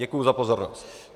Děkuji za pozornost.